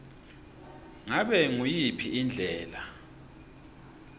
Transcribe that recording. ngabe nguyiphi indlela